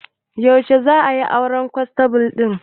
Yaushe za'a yi auren kwanstable ɗin